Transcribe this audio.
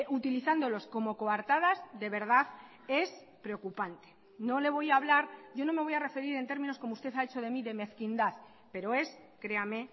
utilizándolos como coartadas de verdad es preocupante no le voy a hablar yo no me voy a referir en términos como usted ha hecho de mí de mezquindad pero es créame